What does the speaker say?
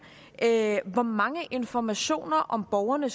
hvor mange informationer om borgerne